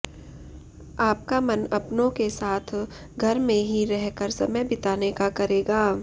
आपका मन अपनों के साथ घर में ही रह कर समय बिताने का करेगा